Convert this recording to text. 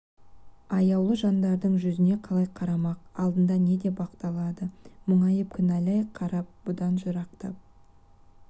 аяулы жандардың жүзіне қалай қарамақ алдында не деп ақталады мұңайып кінәләй қарап бұдан жырақтап